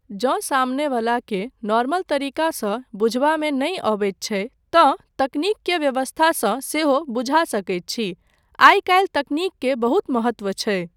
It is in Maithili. जँ सामने वलाकेँ नॉर्मल तरीकासँ बुझबामे नहि अबैत छै तँ तकनीक के व्यवस्थासँ सेहो बुझा सकैत छी, आइ काल्हि तकनीक के बहुत महत्त्व छै ,